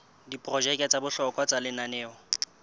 diprojeke tsa bohlokwa tsa lenaneo